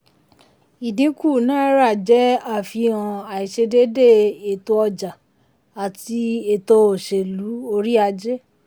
ìdínkù náírà jẹ́ àfihàn àìṣedédé ètò ọjà àti ètò òṣèlú orí ajé.